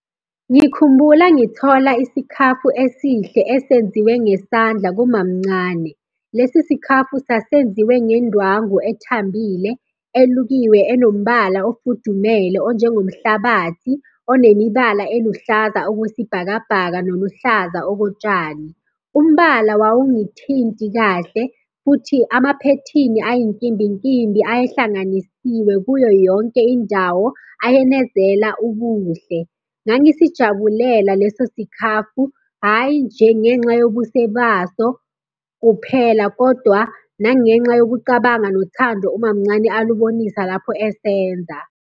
Ngikhumbula ngithola isikhafu esihle esenziwe ngesandla kumamncane. Lesi sikhafu sasenziwe ngendwangu ethambile, elukiwe, enombhalo ofudumele onjengomhlabathi, onemibala eluhlaza okwesibhakabhaka noluhlaza okotshani. Umbala wawungithinti kahle, futhi amaphethini ayinkimbinkimbi ayehlanganisiwe kuyo yonke indawo ayenezela ubuhle. Ngangisijabulela leso sikhafu, hhayi nje ngenxa yobuse baso kuphela kodwa, nangenxa yokucabanga nothando umamncane alubonisa lapho esenza.